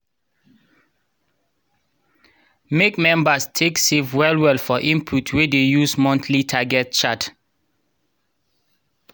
make members take save well well for input we dey use monthly target chart.